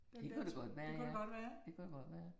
Det kunne det godt være ja, det kunne det godt være